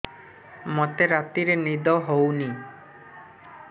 ମୋତେ ରାତିରେ ନିଦ ହେଉନି